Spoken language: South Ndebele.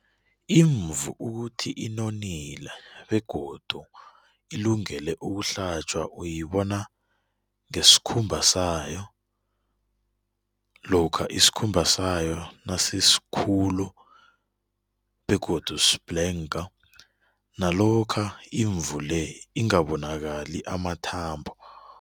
Imvu ukuthi inonile begodu ilungele ukuhlatjwa uyibona ngesikhumbasayo, lokha isikhumba sayo nasisikhulu begodu sibhlenga, nalokha imvu-le engabonakali amathambo.